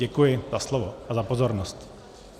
Děkuji za slovo a za pozornost.